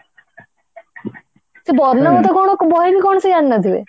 ସେ ବର୍ଣବୋଧ କଣ ସେ ବହି ବି କଣ ସେ ଜାଣିନଥିବେ